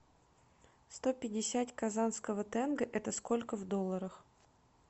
сто пятьдесят казанского тенге это сколько в долларах